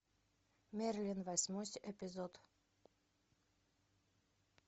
мерлин восьмой эпизод